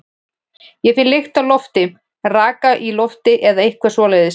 Ég finn lykt af lofti, raka í lofti eða eitthvað svoleiðis.